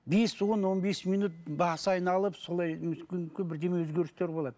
бес он он бес минут басы айналып солай мүмкін бірдеме өзгерістер болады